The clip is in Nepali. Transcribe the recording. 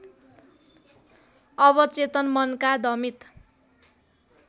अवचेतन मनका दमित